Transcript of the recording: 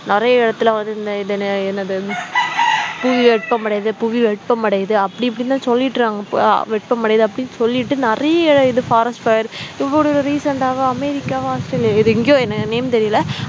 நிறைய இடத்துல வந்து இது என்ன என்னது புவி வெப்பமடையுது புவி வெப்பமடையுது அப்படி இப்படி தான் சொல்லிட்டுருக்காங்க அஹ் வெப்பமடையுது அப்படி சொல்லிட்டு நிறைய இது forest fire இப்ப ஒரு recent ஆ அமெரிக்காவா ஆஸ்திரேலியாவா இது எங்கயோ எனக்கு name தெரியல